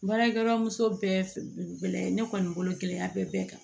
Baarakɛyɔrɔ muso bɛɛ lajɛlen ne kɔni bolo kelen ya bɛɛ kan